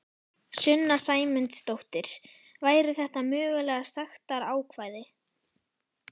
Sunna Sæmundsdóttir: Væru þetta mögulega sektarákvæði?